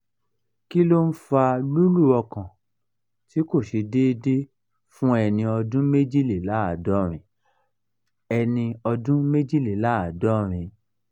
kí ló ń fa lulu ọkàn ti ko se deede fun eni ọdún méjìléláàádọ́rin? eni ọdún méjìléláàádọ́rin?